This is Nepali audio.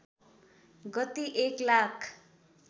गति एक लाख